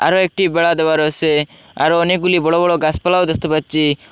একটি বেড়া দেওয়া রয়েসে আরও অনেকগুলি বড় বড় গাসপালাও দেখতে পাচ্ছি।